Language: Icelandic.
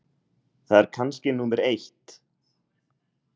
Það er kannski númer eitt.